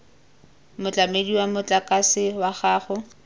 motlamedi wa motlakase wa gago